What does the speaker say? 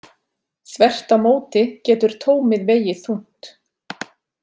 Þvert á móti getur tómið vegið þungt.